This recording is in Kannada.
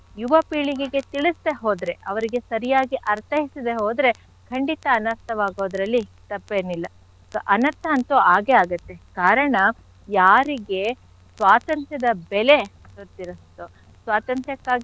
ಯುವ ಪೀಳಿಗೆಗೆ ತಿಳಿಸ್ದೆ ಹೋದ್ರೆ ಅವ್ರಿಗೆ ಸರಿಯಾಗಿ ಅರ್ಥೈಸದೆ ಹೋದ್ರೆ ಖಂಡಿತ ಅನರ್ಥವಾಗೋದ್ರಲ್ಲಿ ತಪ್ಪೇನಿಲ್ಲ. ಅನರ್ಥ ಅಂತೂ ಆಗೇ ಆಗತ್ತೆ ಕಾರಣ ಯಾರಿಗೆ ಸ್ವಾತಂತ್ರ್ಯದ ಬೆಲೆ ಗೊತ್ತಿರತ್ತೋ ಸ್ವಾತಂತ್ರ್ಯಕ್ಕಾಗಿ,